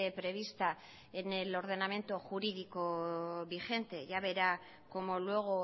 prevista en el ordenamiento jurídico vigente ya verá como luego